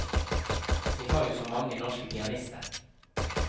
Vi har jo så mange norske pianister.